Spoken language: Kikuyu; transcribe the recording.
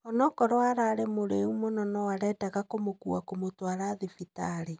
Onokorwo ararĩ mũrĩu mũno no arendaga kũmũkua kũmũtwara thibitarĩ.